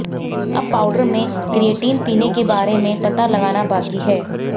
अब पाउडर में क्रिएटिन पीने के बारे में पता लगाना बाकी है